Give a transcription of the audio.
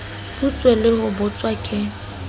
butswe le ho butswa ke